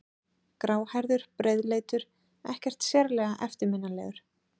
Gráhærður, breiðleitur, ekkert sérlega eftirminnilegur.